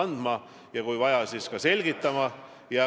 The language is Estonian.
No ei tule neid konkreetseid asju, nagu me näeme.